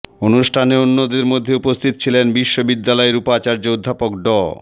অনুষ্ঠানে অন্যদের মধ্যে উপস্থিত ছিলেন বিশ্ববিদ্যালয়ের উপাচার্য অধ্যাপক ড